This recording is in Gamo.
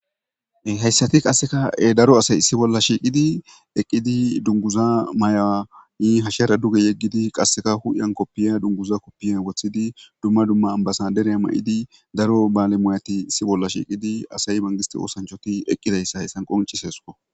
Hayssathi qassika daro asay issi bolla shiiqidi eqqidi dungguza mayuwa hashera duge yeggidi qassika huuphiyan kopiyiya dungguza kopiyiya woththidi dumma dumma ma7idi daro baale mooyathi issi bolla shiidi asay manggisththe oosanchchathi eqqizayssa hesan qonccisses koo.